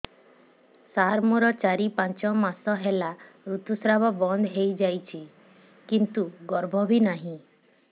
ସାର ମୋର ଚାରି ପାଞ୍ଚ ମାସ ହେଲା ଋତୁସ୍ରାବ ବନ୍ଦ ହେଇଯାଇଛି କିନ୍ତୁ ଗର୍ଭ ବି ନାହିଁ